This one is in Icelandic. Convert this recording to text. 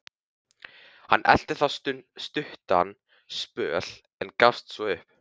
Hann elti þá stuttan spöl, en gafst svo upp.